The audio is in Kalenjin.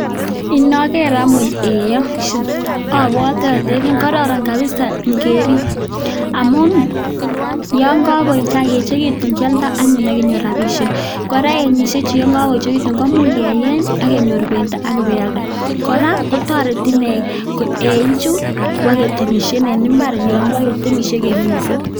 Inoker anyun eiyon obwote olelen kororon kabisa ing'erib amun yoon ko koechekitu kioldo anyun ak inyoru rabishek, kora eingishechu yoon ko koechekitun komuch keyeny ak kenyor bendo ak bealde kora kotoreti ineei eichu koboketemishen en imbar yoon kibokemishen.